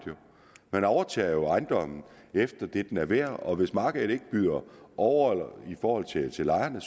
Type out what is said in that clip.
man overtager jo ejendommen efter det den er værd og hvis markedet ikke byder over i forhold til lejerne